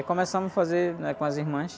E começamos a fazer, né? Com as irmãs.